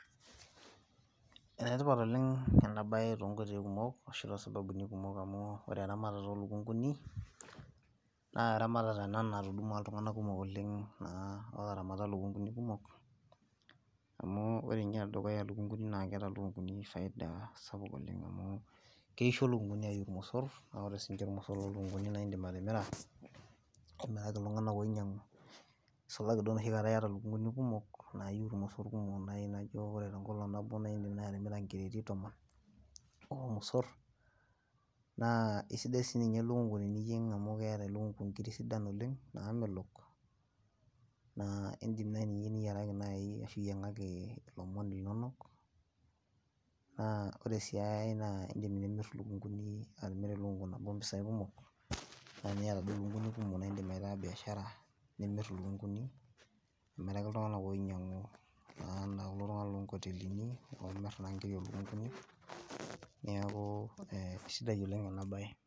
Enetipat oleng enaabaye tonkotoi kumuk amu , ashu too sababuni kumuk amu wore eramatata oolunkunguni naa eramatata ena natudumua iltunganak kumuk oleng naa ootoaramata ilkunguni kumok , amu wore ninye enedukuyia naa keeta ilkunguni faida supuk oleng. Keisho lukunguni ayiu irmosor, naa wore sininche irmosor loolukunguni naa idim atimira, amiraki iltunganak ninyangu , nisulaki duo noshikata iyata ilkunguni kumok naayu irmosor kumok naaji naijo wore teekolong nabo naa idim naaji atimira ikireti tomon ormosor , naa isidai siininye elukungu tiniyieng amu keeta elkungu ingiri sidan oleng naamelok, naa idim ninye niyiaraki naaji ashu iyangaki ilomon linonok naa wore sii engai naa idim nimir ilkunguni, atimira elukungu nabo mpisai kumok , naa tiniyata duo ilkunguni kumok naa idim aitaa biashara , nimir ilkunguni, amiraki iltunganak oinyangu naa ana kulo tunganak loongotelini oomir naa ngiri oolukunguni , niaku isidai oleng enaabaye.